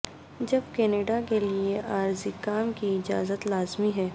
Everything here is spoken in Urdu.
جب کینیڈا کے لئے عارضی کام کی اجازت لازمی ہے